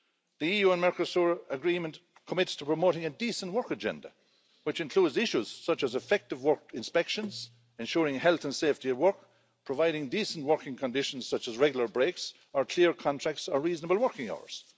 The EU and Mercosur Agreement commits to promoting a decent work agenda, which includes issues such as effective work inspections, ensuring health and safety at work, providing decent working conditions such as regular breaks, or clear contracts or reasonable working hours.